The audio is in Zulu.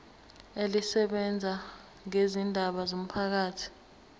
elisebenza ngezindaba zomphakathi